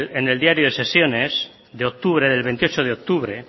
en el diario de sesiones de octubre del veintiocho de octubre